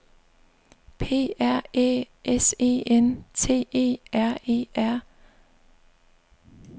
P R Æ S E N T E R E R